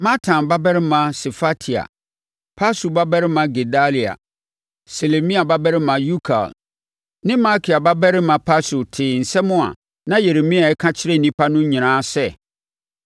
Matan babarima Sefatia, Pashur babarima Gedalia, Selemia babarima Yukal ne Malkia babarima Pashur tee nsɛm a na Yeremia reka kyerɛ nnipa no nyinaa sɛ,